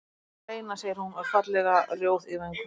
Við verðum að reyna, segir hún og er fallega rjóð í vöngum.